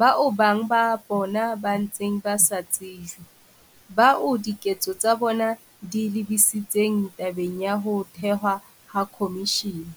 bao bang ba bona ba ntseng ba sa tsejwe, bao diketso tsa bona di lebisitseng tabeng ya ho thehwa ha khomishene.